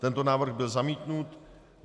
Tento návrh byl zamítnut.